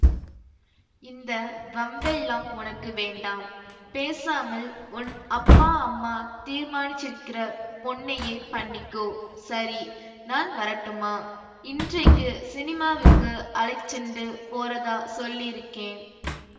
இந்த வம்பெல்லாம் உனக்கு வேண்டாம் பேசாமல் உன் அப்பா அம்மா தீர்மானிச்சிருக்கிற பொண்ணையே பண்ணிக்கோ சரி நான் வரட்டுமா இன்றைக்கு ஸினிமாவுக்கு அழைச்சிண்டு போறதாச் சொல்லியிருக்கேன்